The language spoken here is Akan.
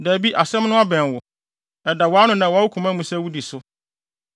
Dabi, asɛm no abɛn wo. Ɛda wʼano na ɛwɔ wo koma mu sɛ mudi so.